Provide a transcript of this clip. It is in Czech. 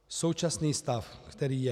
Současný stav, který je.